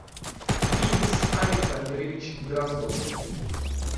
денис александрович дроздов